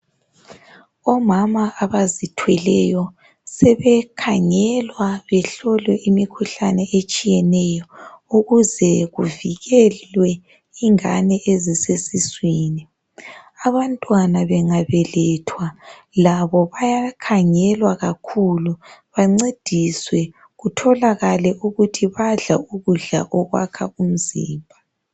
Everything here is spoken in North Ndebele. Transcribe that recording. Omama abazithweleyo, sebekhangelwa, behlolwe imikhuhlane etshiyeneyo, ukuze kuvikelwe ingane ezisesiswini. Abantwana bengabelethwa. Labo bayakhangelwa kakhulu. Bancediswe. Kutholakale ukuthi badla ukudla okwakha umzimba.